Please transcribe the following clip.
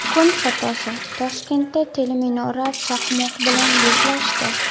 Kun fotosi: Toshkentda teleminora chaqmoq bilan yuzlashdi.